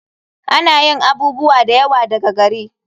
Ana yin abubuwa da yawa daga gari.